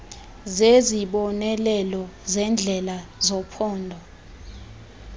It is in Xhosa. zezibonelelo zendlela zephondo